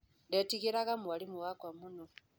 Ndetigĩraga mwarimũ wakwa mũno